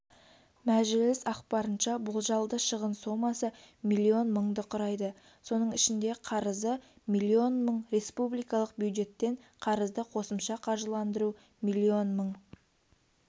мәэжіліс ақпарынша болжалды шығын сомасы млн мыңды құрайды соның ішінде қарызы млн мың республикалық бюджеттен қарызды қосымша қаржыландыру млн мың